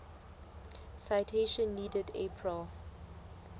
citation needed april